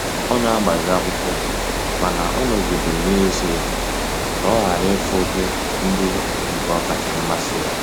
Ọ n'agbazi akwụkwọ mana ọ nọgidere na-eso ya ka ọ ghara ifu bu ndi nke bu okacha mmasi ya.